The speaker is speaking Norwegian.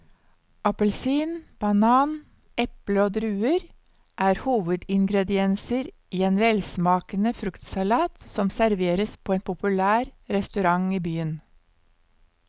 Appelsin, banan, eple og druer er hovedingredienser i en velsmakende fruktsalat som serveres på en populær restaurant i byen.